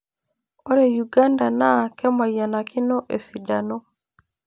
Ore Uganda naa kemayianikino esidano.